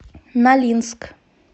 нолинск